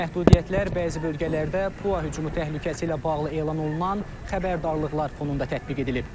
Məhdudiyyətlər bəzi bölgələrdə PUA hücumu təhlükəsi ilə bağlı elan olunan xəbərdarlıqlar fonunda tətbiq edilib.